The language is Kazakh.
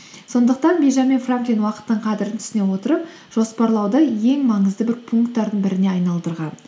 сондықтан бенджамин франклин уақыттың қадірін түсіне отырып жоспарлауды ең маңызды бір пунктардың біріне айналдырған